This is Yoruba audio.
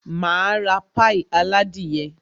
Máa ra pie aládìyẹ